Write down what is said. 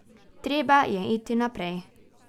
Treba je iti naprej.